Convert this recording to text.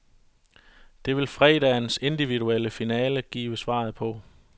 Det vil fredagens individuelle finale give svaret på.